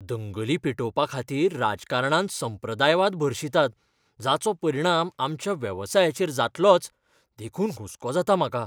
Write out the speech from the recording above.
दंगली पेटोवपाखातीर राजकारणांत संप्रदायवाद भरशितात जाचो परिणाम आमच्या वेवसायाचेर जातलोच, देखून हुस्को जाता म्हाका.